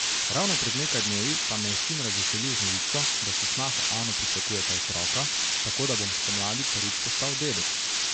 Ravno pred nekaj dnevi pa me je sin razveselil z novico, da s snaho Ano pričakujeta otroka, tako da bom spomladi prvič postal dedek.